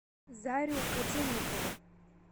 зарю котельникову